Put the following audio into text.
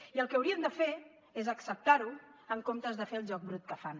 i el que haurien de fer és acceptar ho en compte de fer el joc brut que fan